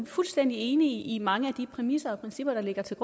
fuldstændig enige i mange af de præmisser og principper der ligger til